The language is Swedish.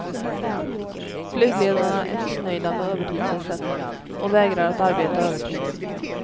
Flygledarna är missnöjda med övertidsersättningen och vägrar att arbeta övertid.